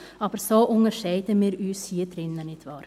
Aber so unterscheiden wir uns hier drin voneinander, nicht wahr?